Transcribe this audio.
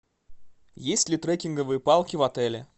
есть ли трекинговые палки в отеле